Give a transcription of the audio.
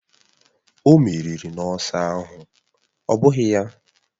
O meriri n’ọsọ ahụ, ọ́ bụghị ya?